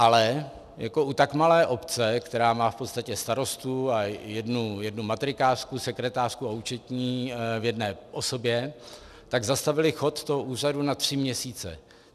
Ale jako u tak malé obce, která má v podstatě starostu a jednu matrikářku, sekretářku a účetní v jedné osobě, tak zastavili chod toho úřadu na tři měsíce.